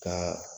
Ka